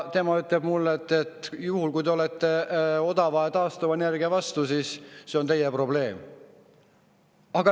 Tema ütles mulle: "Juhul kui te olete odava taastuvenergia vastu, siis see on teie probleem.